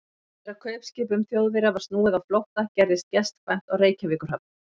Eftir að kaupskipum Þjóðverja var snúið á flótta, gerðist gestkvæmt á Reykjavíkurhöfn.